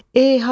E, hardan?